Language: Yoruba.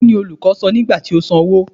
Kí ni ọlọ́kọ̀ sọ nígbà tí ó sàn owó?